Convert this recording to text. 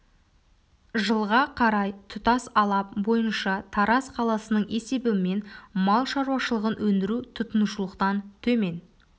жылға қарай тұтас алап бойынша тараз қаласының есебімен мал шаруашылығын өндіру тұтынушылықтан төмен